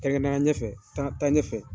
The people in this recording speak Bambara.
taa ɲɛfɛ .